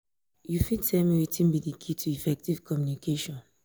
you fit tell me wetin be di key um to effective communication?